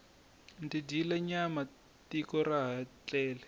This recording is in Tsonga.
ndzi dyile nyama tiko xa ha tlele